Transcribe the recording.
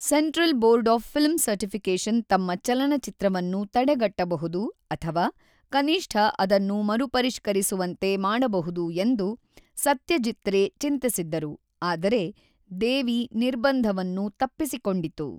Central board of film certification ತಮ್ಮ ಚಲನಚಿತ್ರವನ್ನು ತಡೆಗಟ್ಟಬಹುದು ಅಥವಾ ಕನಿಷ್ಠ ಅದನ್ನು ಮರುಪರಿಷ್ಕರಿಸುವಂತೆ ಮಾಡಬಹುದು ಎಂದು ಸತ್ಯಜೀತ್ ರೇ ಚಿಂತಿಸಿದ್ದರು, ಆದರೆ 'ದೇವಿ' ನಿರ್ಬಂಧವನ್ನು ತಪ್ಪಿಸಿಕೊಂಡಿತು.